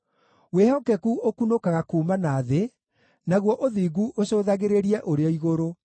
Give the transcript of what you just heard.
Wĩhokeku ũkunũkaga kuuma na thĩ, naguo ũthingu ũcũthagĩrĩrie ũrĩ o igũrũ.